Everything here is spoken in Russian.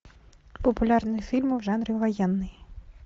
популярные фильмы в жанре военный